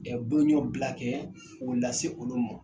Ɛɛ boloɲɔ bila kɛ ko lase se olu ma